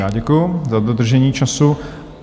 Já děkuju za dodržení času.